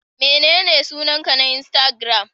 Menene sunanka na insatigiram?